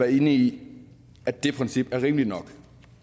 i at det princip er rimeligt nok